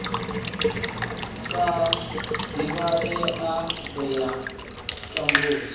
sa divhalei ya u tambudza